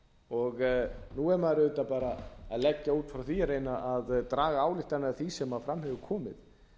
og nú er maður auðvitað bara að leggja út frá því að reyna að draga ályktanir af því sem fram hefur komið